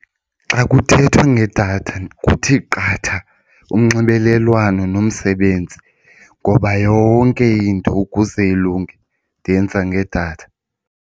Xa kuthethwa ngedatha kuthi qatha unxibelelwano nomsebenzi ngoba yonke into ukuze ilunge ndiyenza ngedatha.